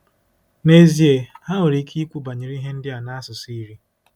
N'ezie, ha nwere ike ikwu banyere ihe ndị a n'asụsụ iri.